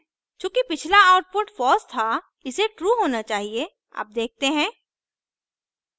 चूँकि पिछला output false था इसे true होना चाहिए अब देखते हैं